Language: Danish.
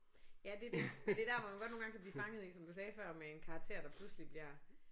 Ja det er det. Det er der hvor man godt nogle gange kan blive fanget i som du sagde før med en karakter der pludselig bliver